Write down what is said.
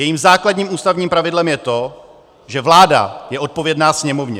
Jejím základním ústavním pravidlem je to, že vláda je odpovědná Sněmovně.